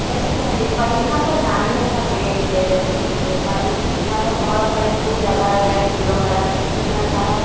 जैसे कि मैं देख पा रही हूं यहां पर नारियल का पेड़ भी है जैसे कि मैं देख पा रही हूं यहां पर बहुत सारे फूल लगाए गए फूलों का रंग सफेद रंग का है।